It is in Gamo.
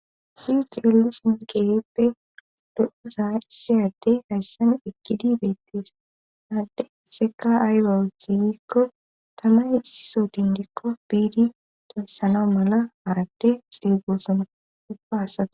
si ceellu sinqeerippe dodiza issiyade hayssan ekkidi beettesanadde seeka aaywa wukiykko tamay iso dindikko biidi tensano mala harade xideegoosuma ubbaasae